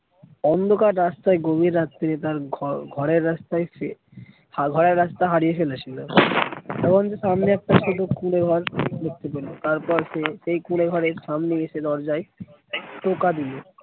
অন্ধকার রাস্তায় গভীর রাত্রিরে তার ঘরের রাস্তায় ঘরের রাস্তা হারিয়ে ফেলেছিলো এমন কি সামনে তারপর সে সেই কুঁড়ে ঘরের সামনে এসে দরজায় টোকা দিলো।